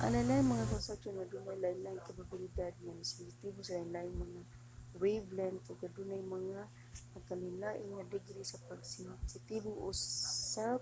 ang lain-laing mga konstruksyon adunay lain-laing kapabilidad nga sensitibo sa lain-laing mga wavelength ug adunay mga nagakalainlain nga degree sa pagkasensitibo usab